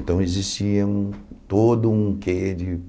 Então existia um todo um quê de